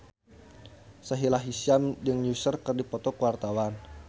Sahila Hisyam jeung Usher keur dipoto ku wartawan